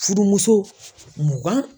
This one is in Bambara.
Fudumuso mugan